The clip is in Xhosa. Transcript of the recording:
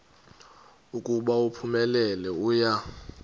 ukuba uphumelele uya